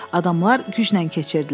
Adamlar güclə keçirdilər.